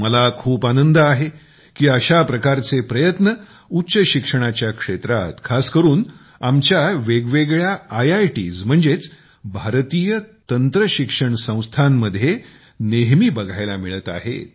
मला खूप आनंद आहे की अशा प्रकारचे प्रयत्न उच्चशिक्षणाच्या क्षेत्रात खास करून आमच्या वेगवेगळ्या आयटीजमध्ये नेहमी बघायला मिळत आहेत